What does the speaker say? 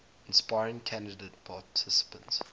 inspiring candidate participants